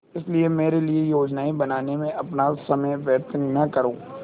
इसलिए मेरे लिए योजनाएँ बनाने में अपना समय व्यर्थ न करो